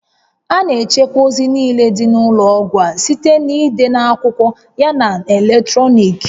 A na-echekwa ozi niile dị n'ụlọọgwụ a site n'ide n'akwụkwọ yana na eletrọnịkị